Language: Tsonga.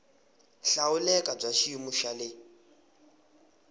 hlawuleka bya xiyimo xa le